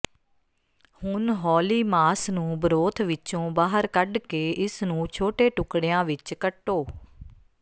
ਹੁਣ ਹੌਲੀ ਮਾਸ ਨੂੰ ਬਰੋਥ ਵਿੱਚੋਂ ਬਾਹਰ ਕੱਢ ਕੇ ਇਸ ਨੂੰ ਛੋਟੇ ਟੁਕੜਿਆਂ ਵਿੱਚ ਕੱਟੋ